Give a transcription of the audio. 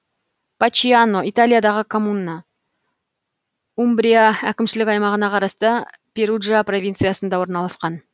пачиано италиядағы коммуна умбрия әкімшілік аймағына қарасты перуджа провинциясында орналасқан